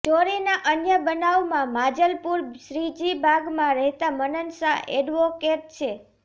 ચોરીના અન્ય બનાવમાં માંજલપુર શ્રીજીબાગમાં રહેતા મનન શાહ એડવોકેટ છે